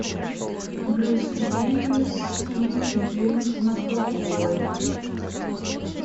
брюс уиллис и джеймс макэвой